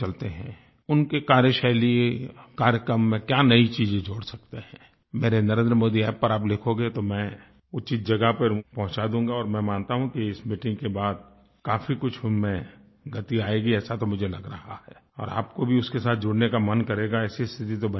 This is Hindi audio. उनकी कार्यशैली कार्यक्रम में क्या नई चीज़ें जोड़ सकते हैं मेरे NarendraModiApp पर आप लिखोगे तो मैं उचित जगह पर पहुँचा दूँगा और मैं मानता हूँ कि इस मीटिंग के बाद काफ़ी कुछ उन में गति आएगी ऐसा तो मुझे लग रहा है और आपको भी उसके साथ जुड़ने का मन करेगा ऐसी स्थिति तो बन ही जाएगी